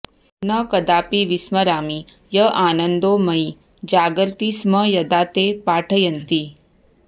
न कदापि विस्मरामि य आनन्दो मयि जागर्ति स्म यदा ते पाठयन्ति